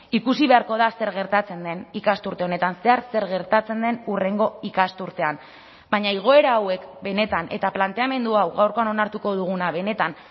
ikusi beharko da zer gertatzen den ikasturte honetan zehar zer gertatzen den hurrengo ikasturtean baina igoera hauek benetan eta planteamendu hau gaurkoan onartuko duguna benetan